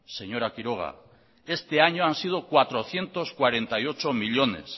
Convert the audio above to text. señora quiroga este año han sido cuatrocientos cuarenta y ocho millónes